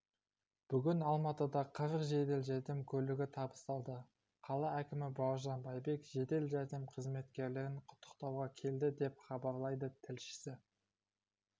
бүгін алматыда қырық жедел жәрдем көлігі табысталды қала әкімі бауыржан байбек жедел жәрдем қызметкерлерін құттықтауға келді деп хабарлайды тілшісі